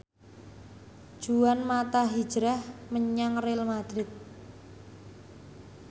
Juan mata hijrah menyang Real madrid